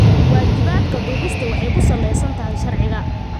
Waajibaadka duubista waxay ku saleysan tahay sharciga.